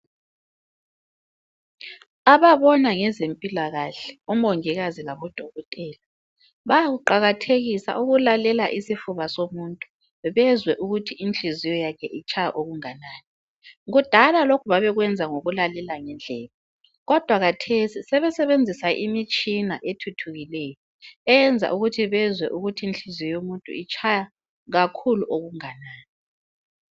Ababona ngezempilakahle omongikazi labodokotela bayakuqakathekisa ukulalela isifuba somuntu bezwe ukuthi inhliziyo yakhe itshaya okunganani. Kudala lokhu babekwenza ngokulalela ngendlebe, kodwa khathesi sebesebenzisa imtshina ethuthukileyo eyenza ukuthi bezwe inhliziyo yomuntu itshaya kakhulu okunganani.